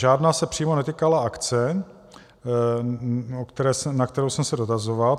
Žádná se přímo netýkala akce, na kterou jsem se dotazoval.